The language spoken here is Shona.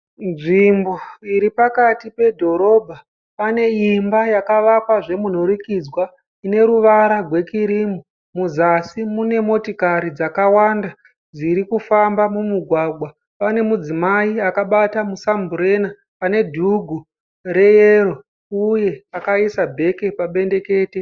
Nzvimbo iripakati pedhorobha. Pane imba yakavakwa zvemunhurikidzwa. Ine ruvara rwekirimu. Muzasi mune motokari dzakawanda dzirikufamba mumugwagwa. Pane mudzimai akabata musamburena ane dhugu reyero, uye akaisa bheke pabendekete.